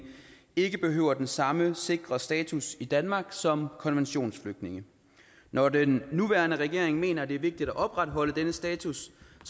ikke behøver den samme sikre status i danmark som konventionsflygtninge når den nuværende regering mener at det er vigtigt at opretholde denne status